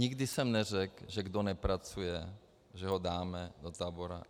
Nikdy jsem neřek', že kdo nepracuje, že ho dáme do tábora.